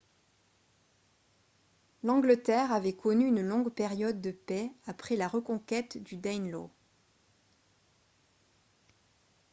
l'angleterre avait connu une longue période de paix après la reconquête du danelaw